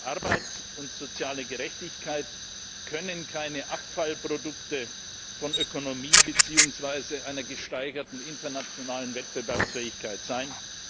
dafür. Arbeit und soziale Gerechtigkeit können keine Abfallprodukte von Ökonomie beziehungsweise einer gesteigerten internationalen Wettbewerbsfähigkeit